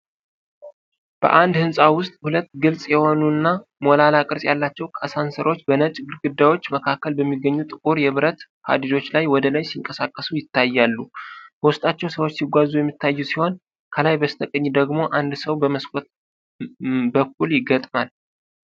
በአንድ ሕንፃ ውስጥ ሁለት ግልጽ የሆኑና ሞላላ ቅርጽ ያላቸው አሳንሰሮች በነጭ ግድግዳዎች መካከል በሚገኙ ጥቁር የብረት ሀዲዶች ላይ ወደ ላይ ሲንቀሳቀሱ ይታያሉ። በውስጣቸውም ሰዎች ሲጓዙ የሚታዩ ሲሆን፤ ከላይ በስተቀኝ ደግሞ አንድ ሰው በመስኮት በኩል ይገጥማል።